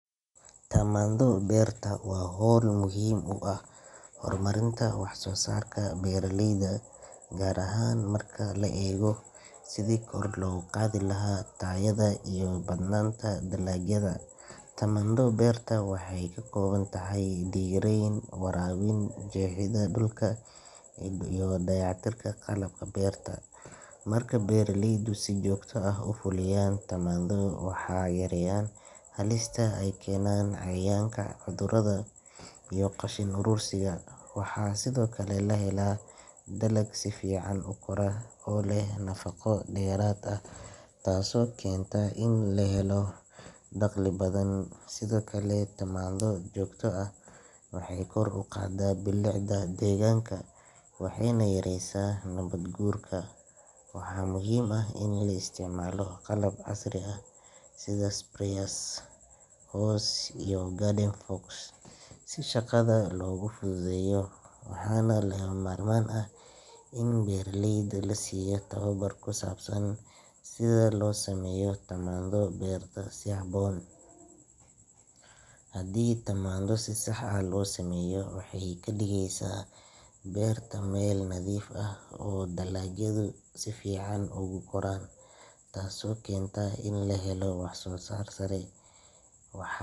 Tamandho berta waa hawl muhiim u ah horumarinta wax soo saarka beeraleyda, gaar ahaan marka la eego sidii kor loogu qaadi lahaa tayada iyo badnaanta dalagyada. Tamandho berta waxay ka kooban tahay dhirayn, waraabin, jeexidda dhulka, iyo dayactirka qalabka beerta. Marka beeraleydu si joogto ah u fuliyaan tamandho, waxay yareeyaan halista ay keenaan cayayaanka, cudurrada, iyo qashin urursiga. Waxaa sidoo kale la helaa dalag si fiican u kora oo leh nafaqo dheeraad ah, taasoo keenta in la helo dakhli badan. Sidoo kale, tamandho joogto ah waxay kor u qaadaa bilicda deegaanka waxayna yareysaa nabaad guurka. Waxaa muhiim ah in la isticmaalo qalab casri ah sida sprayers, hoes, iyo garden forks si shaqada loogu fududeeyo. Waxaa lagama maarmaan ah in beeraleyda la siiyo tababar ku saabsan sida loo sameeyo tamandho berta si habboon. Haddii tamandho si sax ah loo sameeyo, waxay ka dhigeysaa beerta meel nadiif ah oo dalagyadu si fiican ugu koraan, taasoo keenta in la helo wax soo saar sare. Wax.